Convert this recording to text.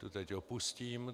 Tu teď opustím.